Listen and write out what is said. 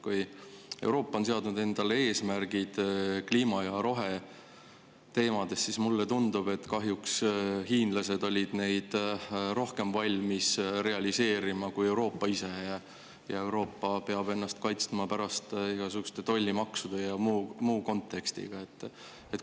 Kuigi Euroopa on seadnud endale eesmärgid kliima- ja roheteemades, siis tundub mulle, et kahjuks olid hiinlased neid rohkem valmis realiseerima kui Euroopa ise ning Euroopa peab ennast kaitsma igasuguste tollimaksude ja muu eest.